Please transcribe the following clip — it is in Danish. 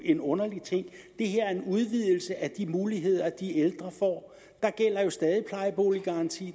en underlig ting det her er en udvidelse af de muligheder de ældre får der gælder jo stadig plejeboliggaranti